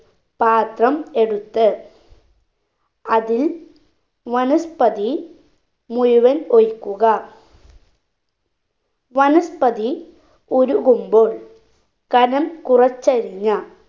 പാത്രം എടുത്ത് അതിൽ വനസ്പതി മുഴുവൻ ഒഴിക്കുക വനസ്പതി ഉരുകുമ്പോൾ കനം കുറച്ചരിഞ്ഞ